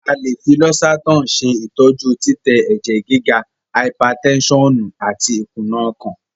a lẹ fí Losartan ṣe ìtọjú titẹ èjè gíga (haipatensonu) àti ikuna ọkàn.